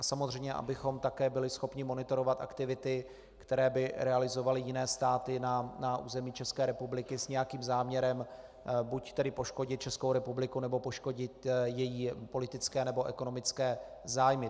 A samozřejmě abychom také byli schopni monitorovat aktivity, které by realizovaly jiné státy na území České republiky s nějakým záměrem - buď tedy poškodit Českou republiku, nebo poškodit její politické nebo ekonomické zájmy.